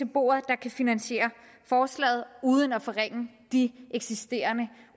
bordet der kan finansiere forslaget uden at forringe de eksisterende